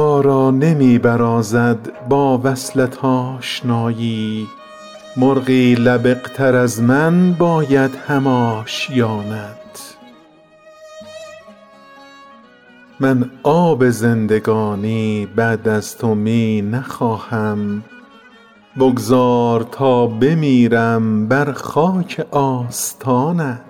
را نمی برازد با وصلت آشنایی مرغی لبق تر از من باید هم آشیانت من آب زندگانی بعد از تو می نخواهم بگذار تا بمیرم بر خاک آستانت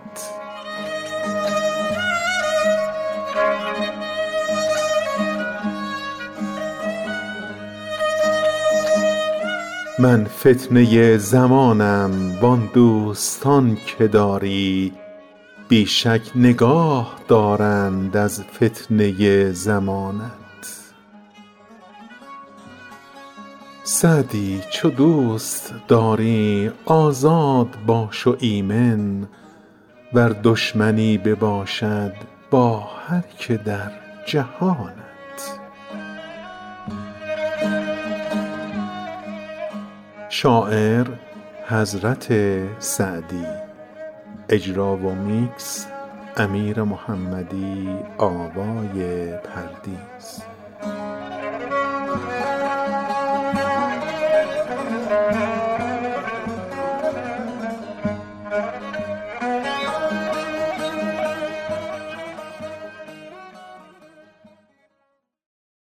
من فتنه زمانم وان دوستان که داری بی شک نگاه دارند از فتنه زمانت سعدی چو دوست داری آزاد باش و ایمن ور دشمنی بباشد با هر که در جهانت